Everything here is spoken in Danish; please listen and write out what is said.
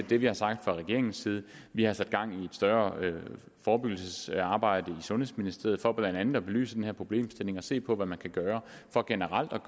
det vi har sagt fra regeringens side vi har sat gang i et større forebyggelsesarbejde i sundhedsministeriet for blandt andet at belyse den her problemstilling og se på hvad man kan gøre generelt